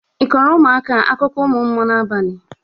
Ị kọrọ ụmụaka a akụkọ ụmụ mmụọ n'abalị a?